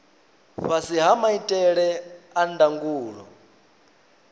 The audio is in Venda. fhasi ha maitele a ndangulo